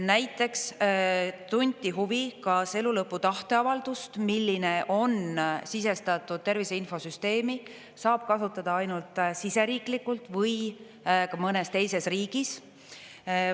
Näiteks tunti huvi, kas elulõpu tahteavaldust, milline on sisestatud Tervise Infosüsteemi, saab kasutada ainult siseriiklikult või ka mõnes teises riigis.